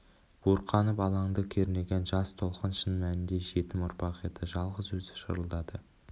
буырқанып алаңды кернеген жас толқын шын мәнінде жетім ұрпақ еді жалғыз өзі шырылдады